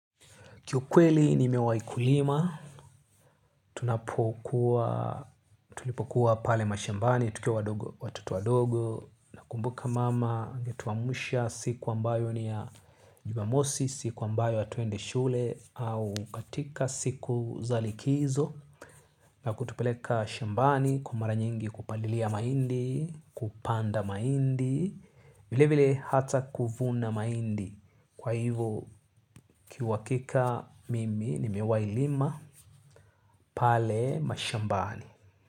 Kiukweli nimewai kulima, tunapokuwa, tulipokuwa pale mashambani, tukiwa wadogo watoto wadogo, nakumbuka mama, angetuamsha siku ambayo ni ya jumamosi, siku ambayo hatuendi shule, au katika siku za likizo, na kutupeleka shambani, kwa mara nyingi kupalilia mahindi, kupanda mahindi, vile vile hata kuvuna mahindi. Kwa hivyo kiuhakika mimi nimewailima pale mashambani.